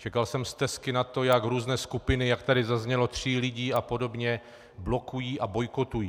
Čekal jsem stesky na to, jak různé skupiny, jak tady zaznělo, tří lidí a podobně blokují a bojkotují.